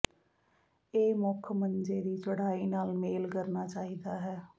ਇਹ ਮੁੱਖ ਮੰਜੇ ਦੀ ਚੌੜਾਈ ਨਾਲ ਮੇਲ ਕਰਨਾ ਚਾਹੀਦਾ ਹੈ